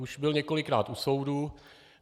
Už byl několikrát u soudu.